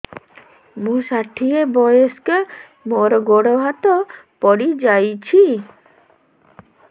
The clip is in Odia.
ମୁଁ ଷାଠିଏ ବୟସ୍କା ମୋର ଗୋଡ ହାତ ପଡିଯାଇଛି